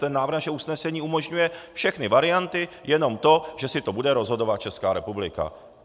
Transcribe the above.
Ten návrh našeho usnesení umožňuje všechny varianty, jenom to, že si to bude rozhodovat Česká republika.